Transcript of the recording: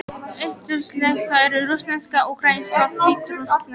Austurslavnesk eru: rússneska, úkraínska og hvítrússneska.